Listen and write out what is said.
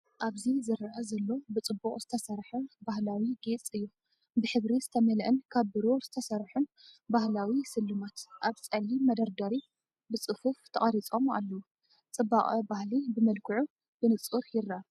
ኣብዚ ዝርአ ዘሎ ብጽቡቕ ዝተሰርሐ ባህላዊ ጌጽ እዩ። ብሕብሪ ዝተመልአን ካብ ብሩር ዝተሰርሑን ባህላዊ ስልማት፡ ኣብ ጸሊም መደርደሪ ብጽፉፍ ተቐሪጾም ኣለዉ። ጽባቐ ባህሊ ብመልክዑ ብንጹር ይርአ።